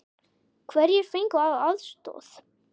Hverjir fengu aðstoð?